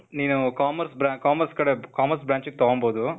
ನೀನೂ commerce bran, commerce ಕಡೆ, commerce branch ಗೆ ತಗೊಂಬೋದು.